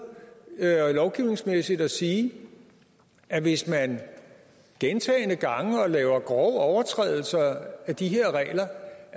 lovgivningsmæssigt og sige at hvis man gentagne gange laver grove overtrædelser af de her regler